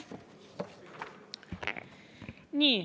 Nii.